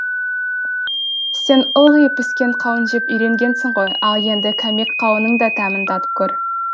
сен ылғи піскен қауын жеп үйренгенсің ғой ал енді кәмек қауынның да дәмін татып көр